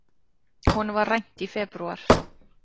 Honum var rænt í febrúar.